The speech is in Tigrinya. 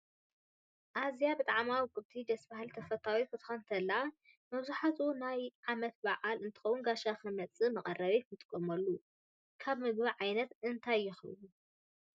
አዛ ብጣዓማ ውቅብትን ደስ ባሃሊት ተፈታውትን ክትኮን ተላ መብዛሓትኡ ናይ ዓመት ባዓል እንትከውን ጋሻ ክመፅእ መቅረብ ንጥቀመሉ ከብ ምግብ ዓይነት እንታይ ይከውን?